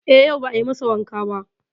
E, yau ba a yi masa wanka ba.